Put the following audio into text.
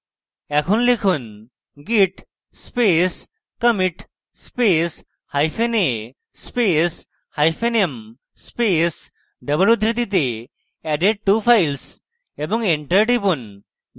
এখন লিখুন: git space commit space hyphen a space hyphen m space double উদ্ধৃতিতে added two files এবং enter টিপুন